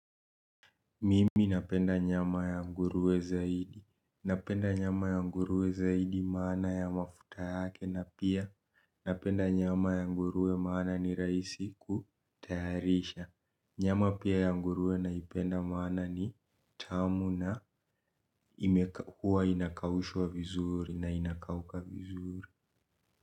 Mimi napenda nyama ya nguruwe zaidi. Napenda nyama ya nguruwe zaidi maana ya mafuta yake na pia napenda nyama ya nguruwe maana ni raisi kutayarisha. Nyama pia ya nguruwe naipenda maana ni tamu na huwa inakaushwa vizuri na inakauka vizuri.